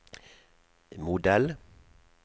modell